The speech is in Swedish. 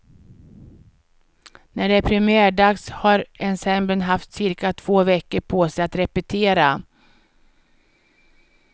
När det är premiärdags har ensemblen haft cirka två veckor på sig att repetera.